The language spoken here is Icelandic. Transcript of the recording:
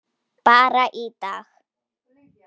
Bara í dag.